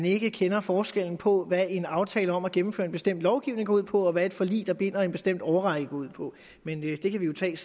ikke kender forskel på hvad en aftale om at gennemføre en bestemt lovgivning går ud på og hvad et forlig der binder i en bestemt årrække går ud på men det kan vi jo tage